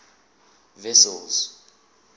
wessels